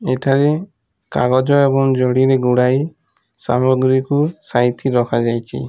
ଏଠାରେ କାଗଜ ଏବଂ ଜୋଢିରେ ଗୁଡାଇ ସାମଗ୍ରିକୁ ସାଇତି ରଖାଯାଇଛି।